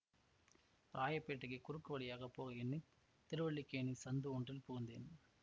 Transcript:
ராயப்பேட்டைக்குக் குறுக்கு வழியாக போக எண்ணி திருவல்லிக்கேணி சந்து ஒன்றில் புகுந்தேன்